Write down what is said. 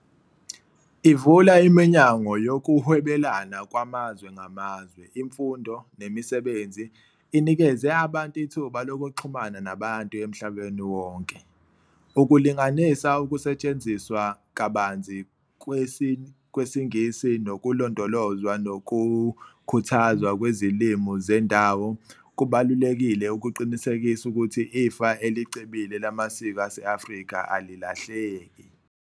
Ivula iminyango yokuhwebelana kwamazwe ngamazwe, imfundo, nemisebenzi, inikeze abantu ithuba lokuxhumana nabantu emhlabeni wonke. Ukulinganisa ukusetshenziswa kabanzi kwesiNgisi nokulondolozwa nokukhuthazwa kwezilimi zendawo kubalulekile ukuqinisekisa ukuthi ifa elicebile lamasiko ase-Afrika alilahleki.